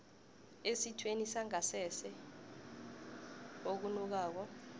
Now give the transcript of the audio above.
esithweni sangasese okunukako